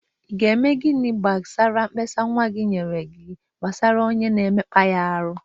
Ị ga-eme gini gbasara mkpesa nwa gị nyere gị gbasara onye na-emekpa ya ahụ?